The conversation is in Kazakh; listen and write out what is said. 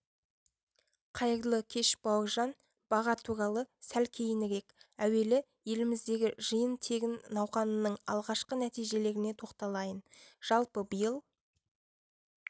қайырлы кеш бауыржан баға туралы сәл кейінірек әуелі еліміздегі жиын-терін науқанының алғашқы нәтижелеріне тоқталайын жалпы биыл